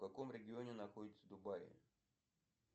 в каком регионе находятся дубаи